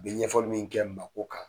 Bi ɲɛfɔli min kɛ maa ko kan